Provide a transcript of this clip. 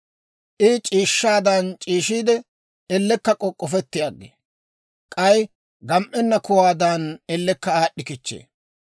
I c'iishshaadan c'iishshiide, ellekka k'ok'k'ofetti aggee; k'ay gam"ennan kuwaadan ellekka aad'd'i kichchee.